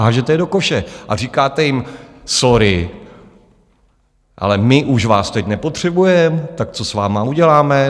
Hážete je do koše a říkáte jim sorry, ale my už vás teď nepotřebujeme, tak co s vámi uděláme?